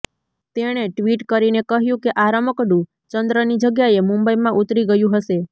તેણે ટ્વીટ કરીને કહ્યું કે આ રમકડું ચંદ્રની જગ્યાએ મુંબઈમાં ઉતરી ગયું હશે